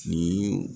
Nin